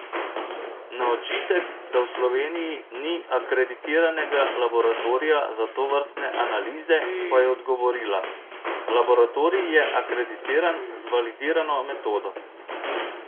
Na očitek, da v Sloveniji ni akreditiranega laboratorija za tovrstne analize, pa je odgovorila: "Laboratorij je akreditiran z validirano metodo.